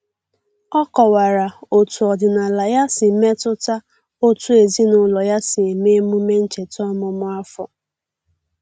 O kọwara otu ọdịnala ya si metụta otú ezinụlọ ya si eme emume ncheta ọmụmụ afọ.